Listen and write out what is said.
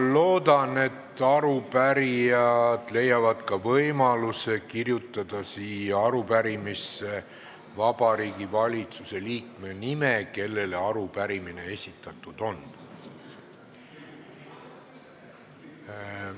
Ma loodan, et arupärijad leiavad võimaluse kirjutada siia arupärimisse ka Vabariigi Valitsuse liikme nime, kellele arupärimine esitatud on.